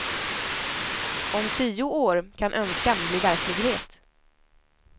Om tio år kan önskan bli verklighet.